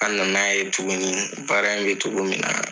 An na na ye tuguni baara in bɛ cogo min na.